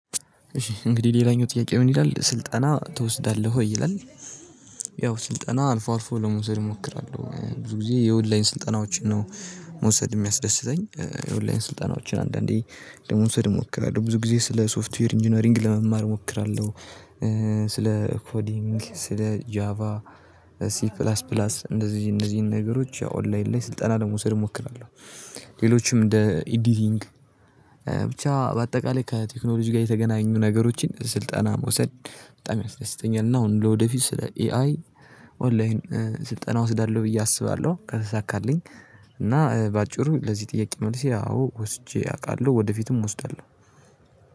እንግዲህ ሌላኛው ጥያቄ ምን ይላል ስልጠና ትወስዳለህ ወይ ይላል? ያው ስልጠና አልፎ አልፎ ለመውሰድ እሞክራለሁ ብዙ ጊዜ የኦንላይን ስልጠናዎችን ነው መውሰድ የሚያስደስተኝ የወላይን ስልጠናዎችን አንዳንዴ ለመውሰድ እሞክራለሁ ብዙ ጊዜ ስለ ሶፍትዌር ኢንጂነሪንግ ለመማር እሞክራለሁ ስለ ኮዲንግ ስለ ጃቫ ሲ ፕላስ ፕላስ እንዚህ እንዚህን ነገሮች ኦንላይን ላይ ስልጠና ለመውሰድ እሞክራለሁ። ሌሎችም እንደ ኤዲቲንግ ብቻ በአጠቃላይ ከቴክኖሎጂ ጋር የተገናኙ ነገሮችን ስልጠና መውሰድ በጣም ያስደስተኛል። እና አሁን ለወደፊት ስለ ኤአይ ኦንላይን ስልጠና እወስዳለሁ ብዬ አስባለሁ ከተሳካልኝ። እና በአጭሩ ለዚህ ጥያቄ መልሴ አዎ ወስጄ አውቃለሁ ወደፊትም ወስዳለሁ።